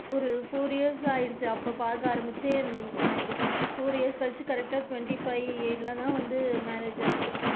ஒரு four years ஆயிடுச்சு அப்ப பாக்க ஆரம்பிச்சே எனக்கு four years கழிச்சு correct டா twenty five year ல தான் வந்து marriage ஆச்சு.